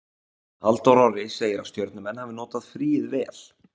Halldór Orri segir að Stjörnumenn hafi notað fríið vel.